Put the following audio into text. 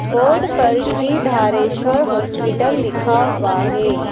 Board पर Shri Dhareshwar hospital लिखा हुआ है।